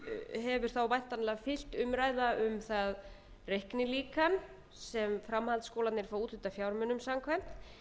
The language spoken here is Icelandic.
hefur þá væntanlega fylgt umræða um það reiknilíkan sem framhaldsskólarnir fá úthlutað fjármunum samkvæmt